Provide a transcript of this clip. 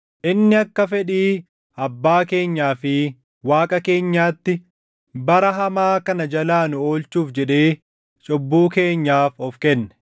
inni akka fedhii Abbaa keenyaa fi Waaqa keenyaatti bara hamaa kana jalaa nu oolchuuf jedhee cubbuu keenyaaf of kenne;